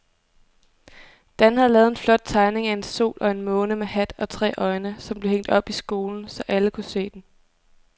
Dan havde lavet en flot tegning af en sol og en måne med hat og tre øjne, som blev hængt op i skolen, så alle kunne se den.